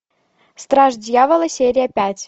страж дьявола серия пять